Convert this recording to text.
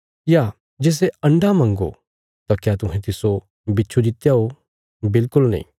या जे सै अण्डा मंग्गो तां क्या तुहें तिस्सो बिच्छु दित्या ओ बिल्कुल नीं